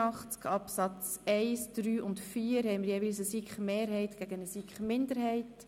Zu Artikel 83 Absatz 1, 3 und 4 gibt es jeweils Anträge der SiKMinderheit gegen die SiK-Mehrheit.